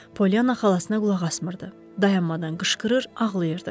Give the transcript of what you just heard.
Pollyana xalasına qulaq asmırdı, dayanmadan qışqırır, ağlayırdı.